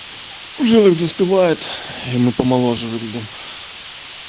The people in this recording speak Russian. жилах застывает и мы помоложе выглядишь